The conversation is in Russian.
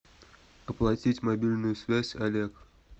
оплатить мобильную связь олег